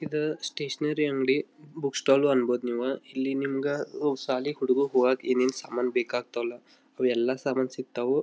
ಇದ ಸ್ಟೇಷನರಿ ಅಂಗಡಿ ಬ್ ಬುಕ್ ಸ್ಟಾಲ್ ಅನ್ಬೋದ್ ನಿವಾ. ಇಲ್ಲಿ ನಿಮ್ಮಗ ಓ ಶಾಲಿ ಹುಡುಗ ಹೋಗಕ ಏನ್ ಏನ್ ಸಾಮಾನ ಬೇಕಾಕ್ತಲ್ಲ ಅವೆಲ್ಲಾ ಸಾಮಾನ ಸಿಕ್ತವು.